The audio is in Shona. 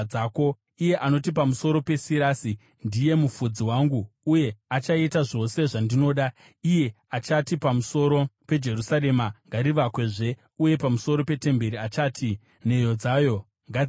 iye anoti pamusoro paSirasi, ‘Ndiye mufudzi wangu uye achaita zvose zvandinoda; iye achati pamusoro peJerusarema, “Ngarivakwezve,” uye pamusoro petemberi achati, “Nheyo dzayo ngadziteyiwe.” ’